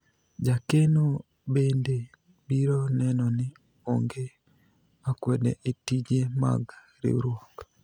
jakeno bende biro neno ni onge akwede e tije mag riwruok